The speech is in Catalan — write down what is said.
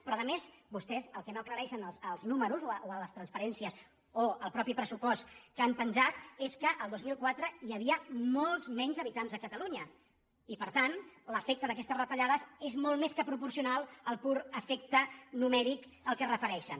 però a més vostès el que no aclareixen als números o a les transparències o al mateix pressupost que han penjat és que el dos mil quatre hi havia molts menys habitants a catalunya i per tant l’efecte d’aquestes retallades és molt més que proporcional al pur efec·te numèric al qual es refereixen